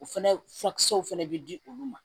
O fɛnɛ furakisɛw fɛnɛ bɛ di olu ma